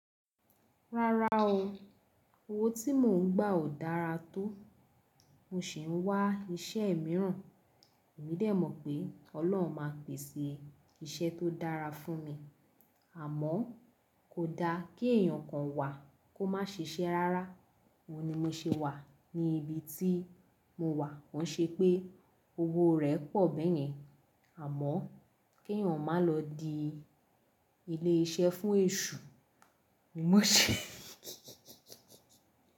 Rárá o, owó tí mò ń gbà ò dára tó, mo sì ń wá iṣẹ́ mìíràn. Èmi dẹ̀ mọ̀ pé Ọlọ́run máa pèsè iṣẹ́ tó dára fún mi, àmọ́ kò da kí èèyàn kan wà kó má ṣe iṣẹ́ rárá. Óun ní mo ṣe wà ní ibi tí mo wà, kó ń ṣe pé owó rẹ̀ pọ̀ bẹ́yẹn, àmọ́ kí èèyàn má lọ di ilé iṣẹ́ fún èṣù ni mo ṣe.